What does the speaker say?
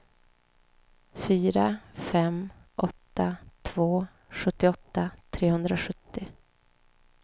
fyra fem åtta två sjuttioåtta trehundrasjuttio